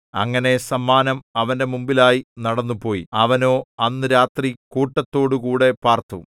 അങ്ങനെ സമ്മാനം അവന്റെ മുമ്പിലായി നടന്നുപോയി അവനോ അന്ന് രാത്രി കൂട്ടത്തോടുകൂടെ പാർത്തു